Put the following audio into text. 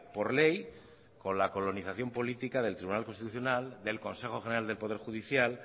por ley con la colonización política del tribunal constitucional del consejo general del poder judicial